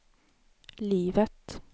livet